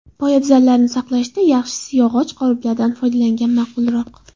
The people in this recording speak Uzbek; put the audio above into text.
Poyabzallarni saqlashda yaxshisi yog‘och qoliplardan foydalangan ma’qulroq.